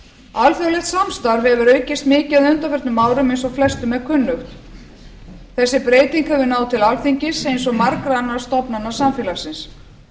alþjóðlegt samstarf hefur aukist mikið á undanförnum árum eins og flestum er kunnugt þessi breyting hefur náð til alþingis eins og margra annarra stofnana samfélagsins